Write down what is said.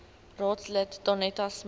raadslid danetta smit